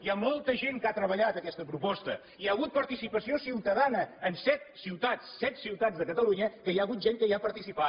hi ha molta gent que ha treballat aquesta proposta hi ha hagut participació ciutadana en set ciutats set ciutats de catalunya que hi ha hagut gent que hi ha participat